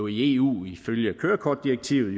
i eu ifølge kørekortdirektivet